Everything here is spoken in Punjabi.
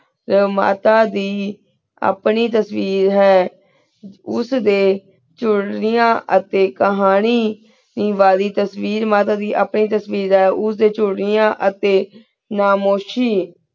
ਮਾਤਾ ਦੀ ਆਪਣੀ ਤੇਸ੍ਵੀਰ ਹੈਂ ਉਸਦੀ ਚੁਰੇਆਯਨ ਅਤੀ ਕਹਾਨੀ ਦੀ ਵਾਰੀ ਤੇਸ੍ਵੇਰ ਤੇਸ੍ਵੇਰ ਮਾਤਾ ਦੀ ਆਪਣੀ ਤੇਸ੍ਵੇਰ ਹੈਂ ਉਸ ਡੀ ਚੁਰੇਆਂ ਅਤੀ ਖਾਮੁਸ਼ੀ